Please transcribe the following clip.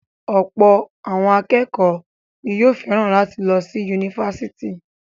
Ọ̀pọ̀ akékọ̀ọ́ ni yóò fẹ́ràn láti lọ sí yunifásítì.